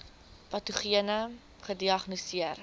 patogene ai gediagnoseer